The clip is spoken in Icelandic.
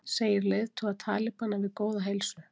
Segir leiðtoga talibana við góða heilsu